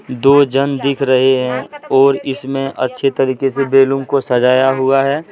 दो जन दिख रहे है और इसमें अच्छी तरीके से बैलूम को सजाया हुआ है।